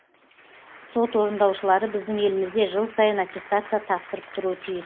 сот орындаушылары біздің елімізде жыл сайын аттестация тапсырып тұруы тиіс